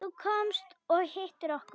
Þú komst og hittir okkur.